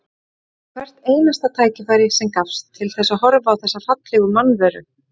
Ég notaði hvert einasta tækifæri sem gafst til þess að horfa á þessa fallegu mannveru.